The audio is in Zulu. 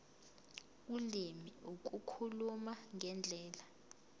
ulimi ukukhuluma ngendlela